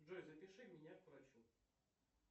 джой запиши меня к врачу